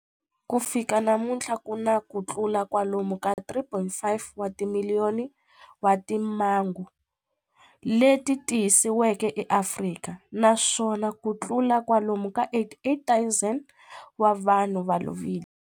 Ku fika namuntlha ku na kutlula kwalomu ka 3.5 wa timiliyoni wa timhangu leti tiyisisiweke eAfrika, naswona kutlula kwalomu ka 88,000 wa vanhu va lovile.